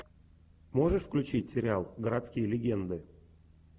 можешь включить сериал городские легенды